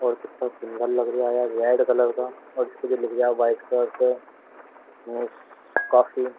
और कितना सुन्दर लग रया यार रेड कलर का और इसपे जो लिख रिया व्हाइट कलर से मिस काफी --